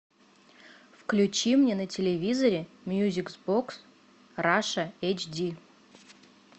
включи мне на телевизоре мьюзик бокс раша эйч ди